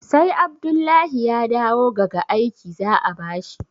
sai Abdullahi ya dawo gaga aiki za a bashi